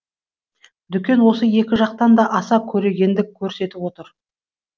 дүкен осы екі жақтан да аса көрегендік көрсетіп отыр